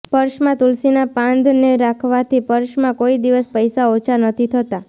પર્સમાં તુલસીના પાંદ ને રાખવાથી પર્સમાં કોઈદિવસ પૈસા ઓછા નથી થતાં